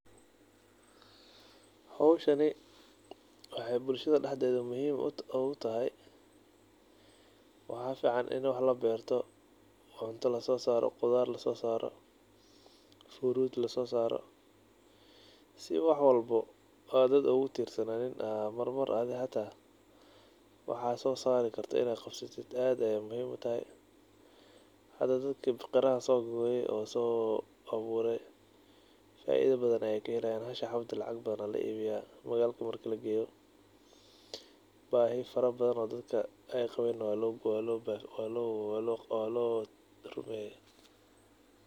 Howshani wexey bulshada dexde muhiim ogutahay waxa fican inni wax lasosarto oo cunto la bero oo furut lasosaro sii marwalbo ad qof ogutirsananin waxa sosarikartid aad ayey muhiim utahay hda dadkan qarahan faido badan ayey kahelayan mashii xabo oo walaiibiya magalka marki lageyo bahii fara badana oo loqabo aya lagagara.